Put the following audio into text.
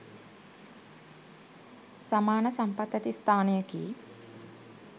සමාන සම්පත් ඇති ස්ථානයකි.